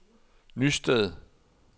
Nysted